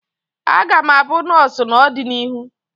Aga m abụ nọọsụ n'ọdịnihu